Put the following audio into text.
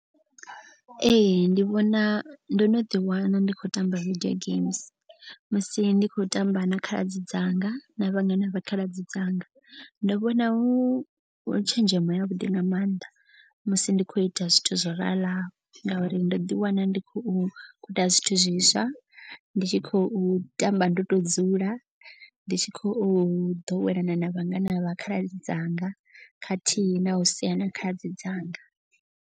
Ee ndi vhona ndo no ḓi wana ndi khou tamba video games. Musi ndi khou tamba na khaladzi dzanga na vhangana vha khaladzi dzanga. Ndo vhona hu tshenzhemo ya vhuḓi nga maanḓa musi ndi khou ita zwithu zwo raḽaho. Ngauri ndo ḓi wana ndi khou guda zwithu zwiswa ndi tshi khou tamba ndo to dzula. Ndi tshi khou ḓowelana na vhangana vha khaladzi dzanga. Khathihi na u sea na khaladzi dzanga.